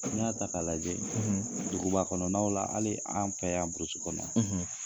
N'i y'a ta k'a lajɛ duguba kɔnɔnaw la, hali an fɛ y'an burusu kɔnɔ